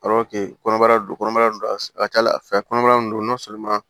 kɔnɔbara don kɔnɔbara don a ka ca ala fɛ kɔnɔbara in don